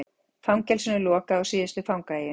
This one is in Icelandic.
Fangelsinu lokað á síðustu fangaeyjunni